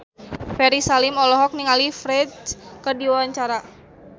Ferry Salim olohok ningali Ferdge keur diwawancara